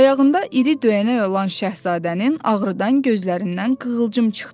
Ayağında iri döyənək olan Şahzadənin ağrıdan gözlərindən qığılcım çıxdı.